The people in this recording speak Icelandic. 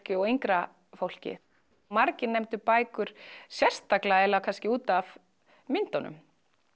og yngra fólki margir nefndu einmitt bækur sérstaklega útaf myndunum